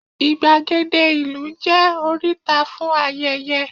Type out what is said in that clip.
igbagede ìlú je oríta fún ayẹyẹ